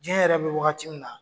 Diɲɛ yɛrɛ bɛ waagati mina.